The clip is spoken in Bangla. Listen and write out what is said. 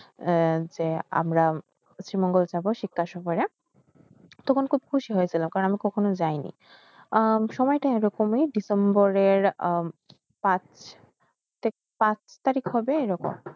এ যে আমর তখন খুব খুশি হইএশীল কারণ আমি কখনো জেএনে আহ সময় তা এই রকমে December রের পাস পাস তারিক হবে এইরকম